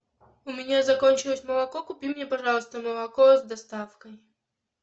у меня закончилось молоко купи мне пожалуйста молоко с доставкой